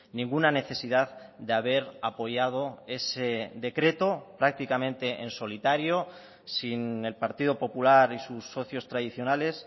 ninguna necesidad de haber apoyado ese decreto prácticamente en solitario sin el partido popular y sus socios tradicionales